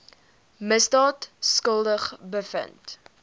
misdaad skuldig bevind